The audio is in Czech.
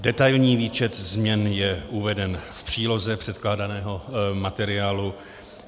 Detailní výčet změn je uveden v příloze předkládaného materiálu.